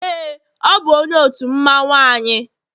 ee, ọ bụ onye otu mmanwu anyi